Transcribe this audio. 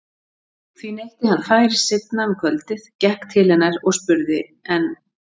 Því neytti hann færis seinna um kvöldið, gekk til hennar og spurði:- En